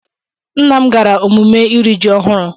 Nna m gara emume iri ji ọhụrụ.